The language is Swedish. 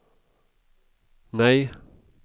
nej